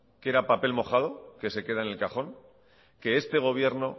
qu era papel mojado que se queda en el cajón que este gobierno